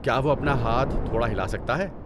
کیا وہ اپنا ہاتھ تھوڑا ہلا سکتا ہے؟